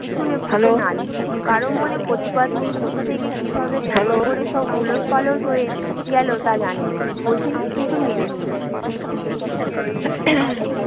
শুনে বুকে নালিশ নেই, কারো মনে প্রতিবাদ নেই কোথা থেকে কীভাবে কেমন করে সব ওলটপালট হয়ে গেল তা জানেনি, বোঝেনি, কিন্তু মেনে নিয়েছে